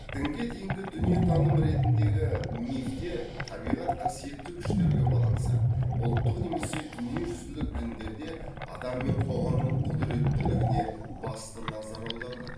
дінге дейінгі дүниетаным ретіндегі мифте табиғат қасиетті күштерге баланса ұлттық немесе дүниежүзілік діндерде адам мен қоғамның құдіреттілігіне басты назар аударылады